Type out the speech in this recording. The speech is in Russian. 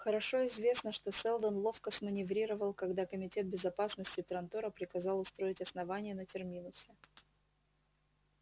хорошо известно что сэлдон ловко сманеврировал когда комитет безопасности трантора приказал устроить основание на терминусе